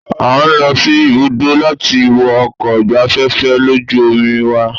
A ń lọ sí ibùdó láti wo ọkọ̀ ìgbafẹ́fẹ́ lójú omi wa.